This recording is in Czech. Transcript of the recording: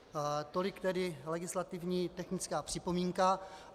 Tolik tedy legislativně technická připomínka.